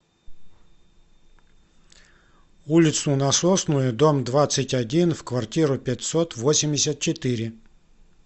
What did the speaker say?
улицу насосную дом двадцать один в квартиру пятьсот восемьдесят четыре